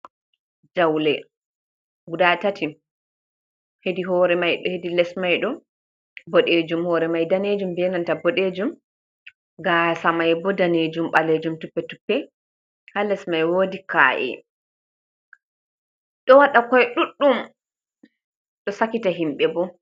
Jawle guda 3, hedi hoore may, hedi les may ni, boɗeejum, hoore may daneejum, be nanta boɗejum, gaasa may bo daneejum, ɓaleejum , toɓɓe-toɓɓe, haa les may woodi ka’e, ɗo waɗa koy ɗuuɗum, ɗo sakita himɓe bo.